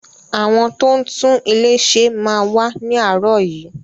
Àwọn tó ń tún ilé ṣe máa wá ni aarọ yìí.